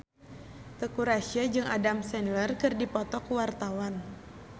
Teuku Rassya jeung Adam Sandler keur dipoto ku wartawan